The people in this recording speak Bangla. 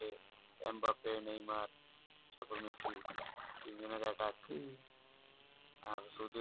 এম বাপে নেইমার তারপরে মেসি তিন জন এর attack আর শুধু